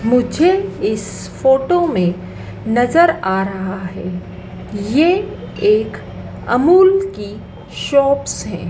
मुझे इस फोटो में नजर आ रहा है ये एक अमूल की शॉप्स है।